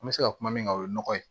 An bɛ se ka kuma min kan o ye nɔgɔ ye